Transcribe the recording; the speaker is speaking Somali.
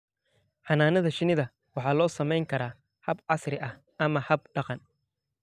Xannaanada shinnida waxa loo samayn karaa hab casri ah ama hab dhaqan.